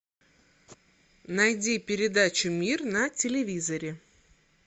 найди передачу мир на телевизоре